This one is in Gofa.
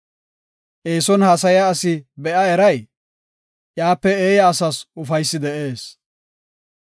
Eeson haasaya asi be7a eray? Iyape eeya asas ufaysi de7ees.